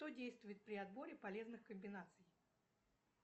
что действует при отборе полезных комбинаций